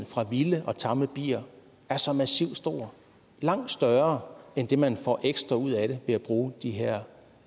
fra vilde og tamme bier er så massivt stor langt større end det man får ekstra ud af det ved at bruge de her